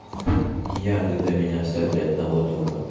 я когда меня оставили одного дома